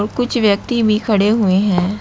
कुछ व्यक्ति भी खड़े हुए हैं।